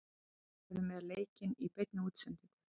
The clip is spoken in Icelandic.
Sýn verður með leikinn í beinni útsendingu.